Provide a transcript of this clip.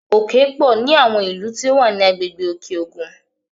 Òkè pọ̀ ní àwọn ilú tí ó wà ní agbègbè Òkè-Ògùn